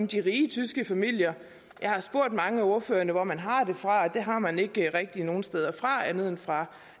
de rige tyske familier jeg har spurgt mange af ordførerne hvor man har det fra det har man ikke rigtig nogen steder fra andet end fra